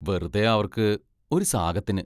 വെറുതേ അവർക്ക്‌ ഒരു സാകത്തിന്.